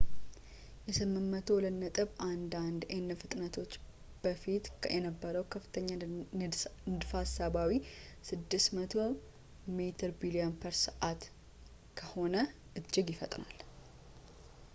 የ802.11n ፍጥነቶች በፊት ከነበረው ከፍተኛ ንድፈ ሀሳባዊ 600 ሜቢ/ሰ ከሆነው እጅግ ይፈጥናል